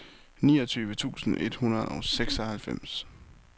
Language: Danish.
niogtyve tusind et hundrede og seksoghalvfems